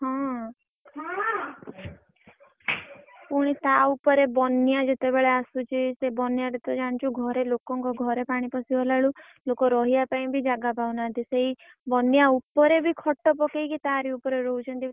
ହଁ। ପୁଣି ତା ଉପରେ ବନ୍ୟା ଯେତେବେଲେ ଆସୁଛି ସେ ବନ୍ୟାରେ ତୁ ଜାଣିଛୁ ଘରେ ଲୋକଙ୍କ ଘରେ ପାଣି ପଶିଗଲାବେଳକୁ ଲୋକ ରହିବା ପାଇଁ ବି ଜାଗା ପାଉ ନାହାନ୍ତି ସେଇ ବନ୍ୟା ଉପରେ ବି ଖଟ ପକେଇକି ତାରି ଉପରେ ରହୁଛନ୍ତି।